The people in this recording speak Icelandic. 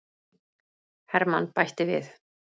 Hermann bætti við.